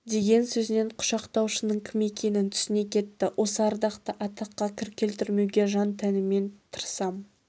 деген сөзінен құшақтаушының кім екенін түсіне кетті осы ардақты атаққа кір келтірмеуге жан-тәніммен тырысам